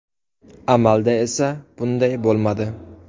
Amalda esa bunday bo‘lmadi .